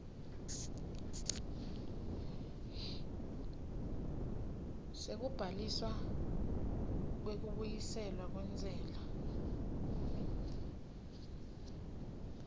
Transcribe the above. sekubhaliswa kwekubuyiselwa kwentsela